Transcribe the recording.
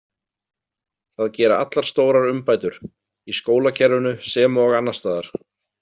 Það gera allar stórar umbætur, í skólakerfinu sem og annars staðar.